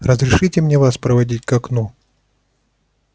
разрешите мне вас проводить к окну